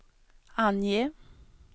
ange